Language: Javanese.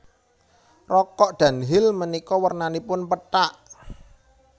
Rokok Dunhill menika wernanipun pethak